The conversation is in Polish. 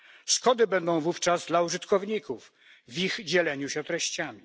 Szkody będą wówczas dla użytkowników w ich dzieleniu się treściami.